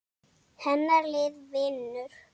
Hennar lið vinnur.